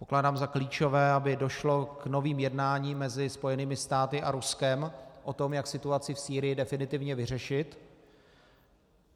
Pokládám za klíčové, aby došlo k novým jednáním mezi Spojenými státy a Ruskem o tom, jak situaci v Sýrii definitivně vyřešit.